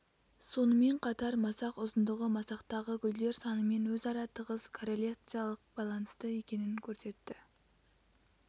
сонымен қатар масақ ұзындығы масақтағы гүлдер санымен өзара тығыз корреляциялық байланысты екенін көрсетті